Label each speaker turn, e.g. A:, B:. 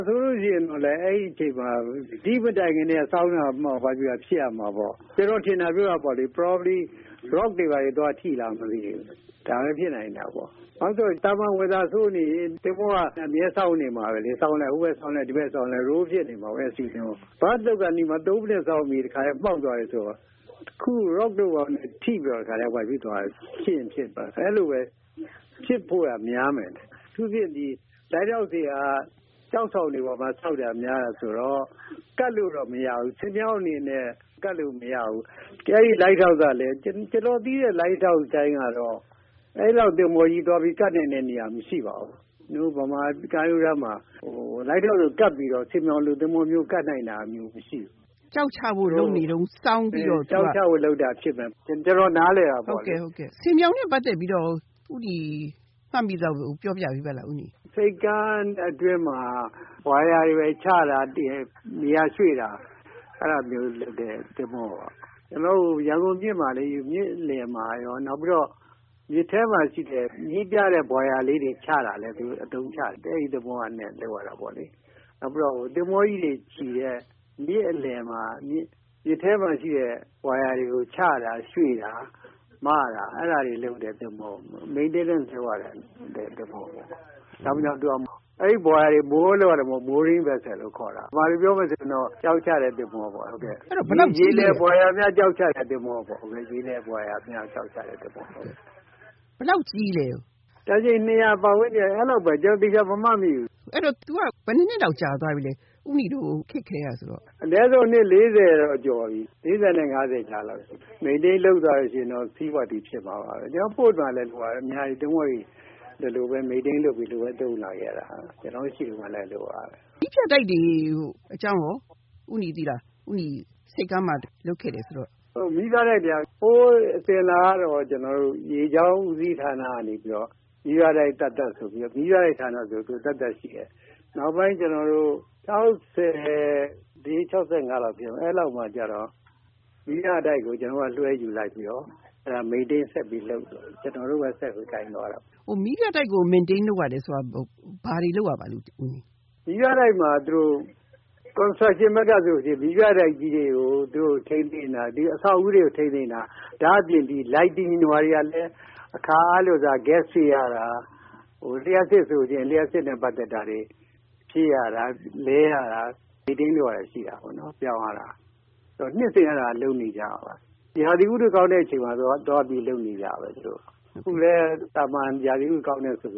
A: ဆိုလို့ရှိရင်လည်း ဒိမတိုင်ခင်ကတည်းက စောင်းနေမှာပေါ့။ ကျနော်ထင်တာပြောတာပေါ့လေ။ Probably, rock တွေ ဘာတွေ သွားထိသလား မသိဘူး။ ဒါလည်း ဖြစ်နိုင်တာပေါ့။ နောက်ပြီးတော့ သာမန် weather ဆိုးနေရင် သင်္ဘောက အမြဲစောင်းနေမှာ ပဲလေ။ သင်္ဘောက ဟိုဘက်စောင်းလိုက်၊ ဒီဘက်စောင်းလိုက် roll ဖြစ်နေမှာပေါ့။ Berth လုပ်ခါနီးမှာ သုံးမိနစ်စောင်းပြီးတော့ တခါတည်း မှောက်သွားတယ်ဆိုတော့ rock တို့ဘာတို့နဲ့ ထိပြီးတော့ တခါတည်း အဲဒီလိုပဲ ဖြစ်ဖို့က များမယ်။ အထူးသဖြင့် lighthouse တွေက ကျောက်ဆောင်တွေပေါ်မှာ ဆောက်တာ များတာဆိုတော့ ကပ်လို့တော့ မရဘူး။ ဆင်ပြောင် အနေနဲ့ ကပ်လို့တော့ မရဘူး။ အဲဒီ lighthouse ကလည်း ကျနော်သိတဲ့ lighthouse တိုင်းကတော့ အဲလောက်သင်္ဘောကြီးသွားပြီး ကပ်နိုင်တဲ့နေရာ မရှိပါဘူး။ ကျနော်တို့ မြန်မာကမ်းရိုးတန်းမှာ lighthouse ကို ကပ်ပြီးတော့ ဆင်ပြောင်လိုသင်္ဘောမျိုး ကပ်နိုင်တာမျိုး မရှိဘူး။”
B: ကျောက်ချဖို့လုပ်နေတုန်း စောင်းပြီးတော့…..
A: အင်း…အင်း။ ကျောက်ချဖို့လုပ်တာ ဖြစ်နိုင်တယ်။ ကျနော် နားလည်တာပေါ့လေ။
B: ဟုတ်ကဲ့၊ ဟုတ်ကဲ့။ ဆင်ပြောင်နဲ့ပတ်သက်ပြီးတော့ရော ဦးနီ မှတ်မိသလောက် ပြောပြပေးပါလား။ ဦးနီ။
A: ဆိပ်ကမ်းအတွင်းမှာ Buoy တွေဘာတွေ ချတာ ၊ နေရာရွှေ့တာ အဲဒါတွေလုပ်တယ်၊ သင်္ဘောပေါ်က ။ ကျနော်တို့ ရန်ကုန်မြစ်မှာလေ-မြစ်လယ်မှာရော။ နောက်ပြီးတော့ မြစ်ထဲမှာရှိတဲ့ မီးပြတဲ့ buoy လေးတွေချတာလည်း သူတို့ အသုံးချတယ်။ အဲဒီသဘောနဲ့ လုပ်ရတာပေါ့လေ။ နောက်ပြီးတော့ သင်္ဘောကြီးတွေချည်တဲ့ မြစ်အလယ်မှာ - မြစ်ထဲမှာရှိတဲ့ Buoy တွေကို ချတာ၊ ရွှေ့တာ၊ မတာ၊ အဲဒါတွေ လုပ်တဲ့သင်္ဘောပေါ့။ maintenance လုပ်ရတဲ့သင်္ဘောပေါ့။ နောက်ပြီးတော့ အဲဒီ Buoy တွေကို moor လုပ်ရတဲ့ mooring vessel လို့ ခေါ်တယ်။ ဗမာလိုပြောမယ်ဆိုရင်တော့ ကျောက်ချတဲ့သင်္ဘောပေါ့။ ရေလယ် buoy များ ကျောက်ချတဲ့သင်္ဘောပေါ့။
B: အဲဒီတော့ သင်္ဘောက ဘယ်လောက်ကြီးလဲ။
A: တန်ချိန် ၂၀၀ ပတ်ဝန်းကျင်၊ အဲလောက်ပဲ။ ကျနော် သေချာ မမှတ်မိဘူး။
B: အဲဒီတော့ သူက ဘယ်နှစ်နှစ်တောင် ကြာသွားပြီလဲ။ ဦးနီတို့ ခေတ်ကတည်းကဆိုတော့။
A: အနည်းဆုံး နှစ်လေးဆယ်တော့ ကျော်ပြီ။ ၄၀ နဲ့ ၅၀ ကြားလောက်ပေါ့။ Maintain လုပ်ထားတယ်ဆိုရင်တော့ seaworthy ဖြစ်မှာပေါ့။ ကျနော်တို့ Port မှာလည်း ဒီလိုပဲ သင်္ဘောတွေ maintain လုပ်ပြီး ဒီလိုပဲ သုံးလာခဲ့ရတာ။ ကျနော်တို့ရှိတုန်းကလည်း အဲလိုပါပဲ။
B: မီးပြတိုက်တွေအကြောင်းကော ဦးနီသိလား၊ ဦးနီက ဆိပ်ကမ်းမှာလုပ်ခဲ့တယ်ဆိုတော့-
A: မီးပြတိုက်တွေက ဟိုးအစဉ်အလာကတော့ ကျနော်တို့ ရေကြောင်းဦးစီးဌာနကနေပြီးတော့ မီးပြတိုက်ဌာနဆိုပြီး သက်သက်ဆိုပြီး သူက ရှိတယ်။ နောက်ပိုင်း ၆၄-၆၅ လောက်ဖြစ်မယ်-အဲလောက်မှာကျတော့ မီးပြတိုက်ကို ကျနော်တို့က လွှဲယူလိုက်ပြီးတော့ maintain ဆက်ပြီးလုပ်ပါတယ်။ ကျနော်တို့ပဲ ဆက်ပြီး ကိုင်သွားတာပေါ့။
B: မီးပြတိုက်ကို Maintain လုပ်ရတယ်ဆိုတာ ဘာတွေလုပ်ရပါလဲ။
A: မီးပြတိုက်မှာ Construction ဘက်မှာဆို မီးပြတိုက်ကြီးတွေကို ထိန်းသိမ်းတာ၊ အဆောက်အဦးတွေကို ထိန်းသိမ်းတာ။ ဒါ့အပြင် lighting လိုဟာတွေကလည်း အခါအားလျှော်စွာ Gas ဖြည့်ရတာ။ လျှပ်စစ်ဆိုလို့ရှိရင်လည်း လျှပ်စစ်နဲ့ပတ်သက်တာတွေ ဖြည့်ရတာ၊ လဲရတာ။ Maintain လုပ်ရတာတွေ ရှိတာပေါ့နော်။ ပြောင်းရတာ။ နှစ်စဉ် အဲဒါလုပ်နေကျပါ။ ရာသီဥတုကောင်းတဲ့အချိန်မှာ သွားပြီး သူတို့လုပ်နေကျပဲ။ အခုလည်း သာမန် ရာသီဥတုကောင်းတယ်ဆို